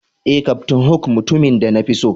Eh, captain hook na mutumin da na fi so.